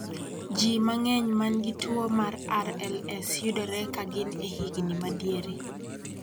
Ji mang�eny ma nigi tuo mar RLS yudore ka gin e higni ma diere.